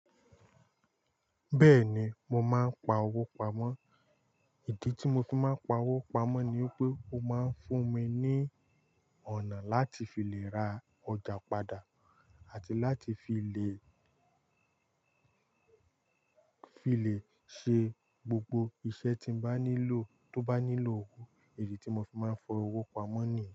Bẹ́ẹ̀ni, mo máa ń pa owó pamọ́. IdI tí mo fi máa ń pa owó pamọ́ ni pé ó máa ń fún mi ní ọ̀nà láti fi lè ra ọjà padà àti láti fi lè, fi lè ṣe gbogbo iṣẹ́ tí n bá nílò tó bá nílò owó. IdI tí mo fi máa ń fọwọ́ pamọ́ nìyi.